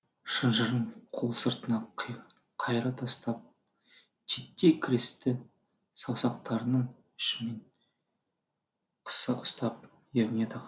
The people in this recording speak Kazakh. шынжырын қол сыртына қайыра тастап титтей крестті саусақтарының ұшымен қыса ұстап ерніне тақады